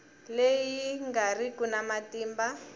leyi nga riki na matimba